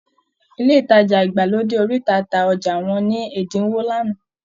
Ilé ìtajà ìgbàlódé oríta ta ọjà wọn ní ẹ̀dínwó lánàá